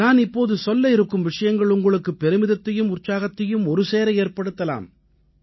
நான் இப்போது சொல்ல இருக்கும் விஷயங்கள் உங்களுக்கு பெருமிதத்தையும் உற்சாகத்தையும் ஒருசேர ஏற்படுத்தலாம்